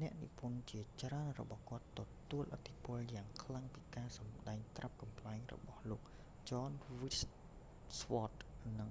អ្នកនិពន្ធជាច្រើនរបស់គាត់ ទទួលឥទ្ធិពលយ៉ាងខ្លាំងពីការសម្ដែងត្រាប់កំប្លែងរបស់លោក ចន ស្ទីវ៉ដ jon stewart និង